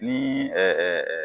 Nin ɛɛ